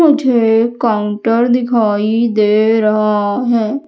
मुझे काउंटर दिखाई दे रहा है।